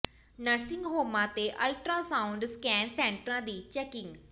nursing ਹੋਮਾਂ ਤੇ ultrasound scan ਸੈਂਟਰਾਂ ਦੀ ਚੈਕਿੰਗ